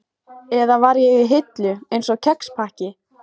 Eða var ég í hillu, einsog kexpakki?